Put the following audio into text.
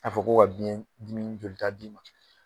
A fɔ ko ka biɲɛdimi jolita d'i ma